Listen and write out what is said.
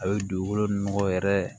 A bɛ dugukolo nɔgɔ yɛrɛ